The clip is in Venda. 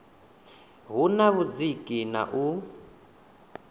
hu na vhudziki na u